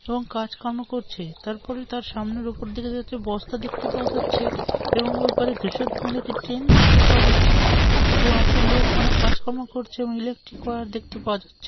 এবং কাজকর্ম করছে তারপরে তার সামনের উপর বস্তা দেখতে পাওয়া যাচ্ছে এবং ওই পারে ধুসর একটি ট্রেন দেখতে পাওয়া যাচ্ছে। এবং একটি লোক অনেক কাজকর্ম করছে এবং ইলেকট্রিক ওয়্যার দেখতে পাওয়া যাচ্ছে।